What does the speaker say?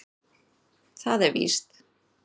Það er víst.